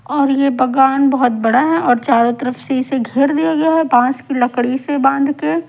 और यह बगान बहुत बड़ा है और चारों तरफ से इसे घेर दिया गया है बांस की लकड़ी से बांध के--